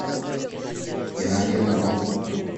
геннадий антонов